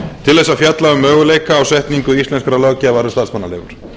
til að fjalla um möguleika á setningu íslenskrar löggjafar um starfsmannaleigur